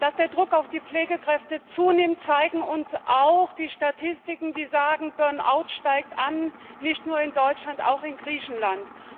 Dass der Druck auf die Pflegekräfte zunimmt, zeigen uns auch die Statistiken, die sagen Burn out steigt an, nicht nur in Deutschland, auch in Griechenland.